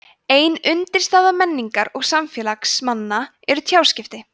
ein undirstaða menningar og samfélags manna eru tjáskipti